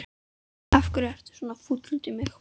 Af hverju ertu svona fúll út í mig?